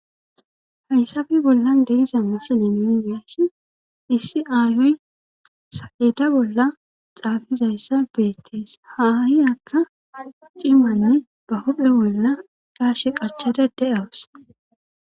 haysabi bollan deiza misile minumiashi issi aayoy sa7eda bolla xaafizayssa beettees haahi akka cimanne ba hudhe bolla daashe qachada de7awusa